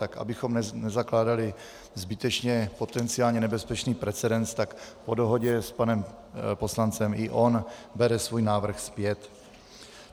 Tak abychom nezakládali zbytečně potenciálně nebezpečný precedent, tak po dohodě s panem poslancem i on bere svůj návrh zpět.